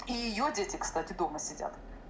и её дети кстати дома сидят